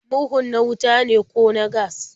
Murhun na wuta ne ko na gas?